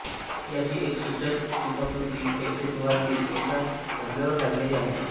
याची एक सूचक शिल्पाकृती चैत्यगृहातील एका खांबावर काढलेली आहे